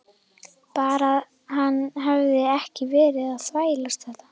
Bara að hann hefði ekki verið að þvælast þetta.